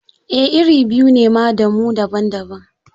E, iri biyu ne ma da mu daban-daban